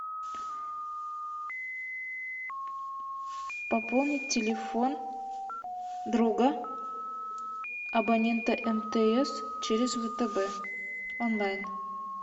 пополнить телефон друга абонента мтс через втб онлайн